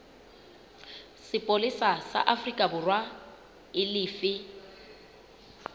sepolesa sa aforikaborwa e lefe